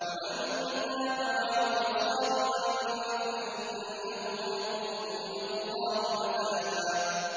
وَمَن تَابَ وَعَمِلَ صَالِحًا فَإِنَّهُ يَتُوبُ إِلَى اللَّهِ مَتَابًا